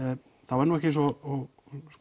er nú ekki eins og